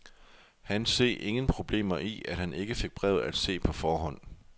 Han se ingen problemer i, at han ikke fik brevet at se på forhånd.